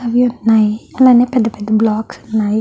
అని ఉన్నాయి అలానే పెద్ద పెద్ద బ్లొచ్క్స్ ఉన్నాయి.